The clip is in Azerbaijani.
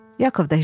Yakov da hirsləndi.